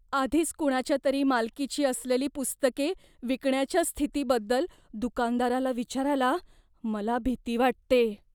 आधीच कुणाच्या तरी मालकीची असलेली पुस्तके विकण्याच्या स्थितीबद्दल दुकानदाराला विचारायला मला भीती वाटते.